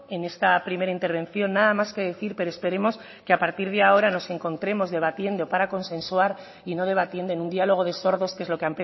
en esta primera intervención nada más que decir pero esperemos que a partir de ahora nos encontremos debatiendo para consensuar y no debatiendo en un diálogo de sordos que es lo que